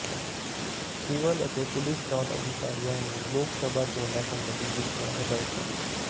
civil ਤੇ police ਚੋਣ ਅਧਿਕਾਰੀਆਂ ਨੂੰ ਲੋਕ ਸਭਾ ਚੋਣਾਂ ਸਬੰਧੀ ਦਿੱਤੀਆਂ ਹਦਾਇਤਾਂ